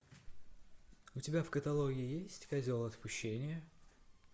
у тебя в каталоге есть козел отпущения